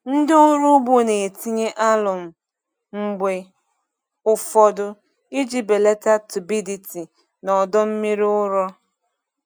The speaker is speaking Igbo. Ndị ọrụ ugbo na-etinye alụmụ mgbe ụfọdụ iji belata turbidity na ọdọ mmiri ụrọ.